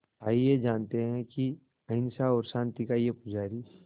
आइए जानते हैं कि अहिंसा और शांति का ये पुजारी